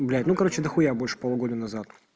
блядь ну короче дохуя больше полугода назад